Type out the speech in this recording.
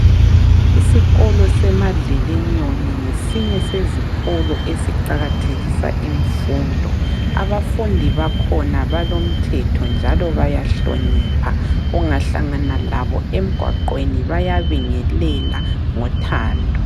Isikolo seMadlelinyoni ngesinye sesikolo eziqakathekisa imfundo. Abafundi bakhona balomthetho njalo bayahlonipha. Ungahlangana labo emgwaqeni bayabingelela ngothando.